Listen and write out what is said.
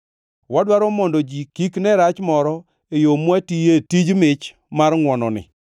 Wadwaro mondo ji kik ne rach moro e yo mwatiye tij mich mar ngʼwononi.